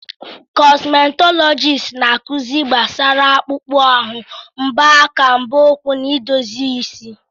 Kọsmetọlọjisti na-akụzi gbasara akpụkpọ ahụ, mbọ aka, mbọ ụkwụ na idozi isi.